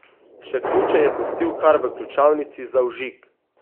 Še ključe je pustil kar v ključavnici za vžig!